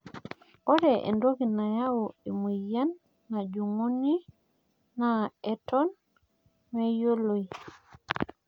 ore entoki naimu emoyian najing'uni naa eton meyioloi